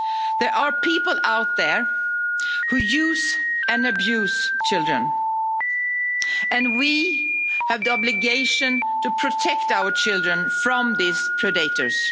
There are people out there who use and abuse children, and we have the obligation to protect our children from these predators.